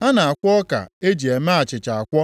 A na-akwọ ọka e ji eme achịcha akwọ,